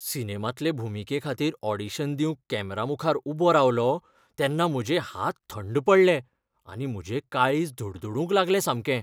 सिनेमांतले भुमिकेखातीर ऑडिशन दिवंक कॅमेरामुखार उबो रावलों तेन्ना म्हजे हात थंड पडले आनी म्हजें काळीज धडधडूंक लागलें सामकें.